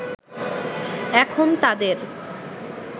এখন তাদের